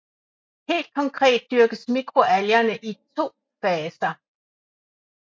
Helt konkret dyrkes mikroalgerne i to faser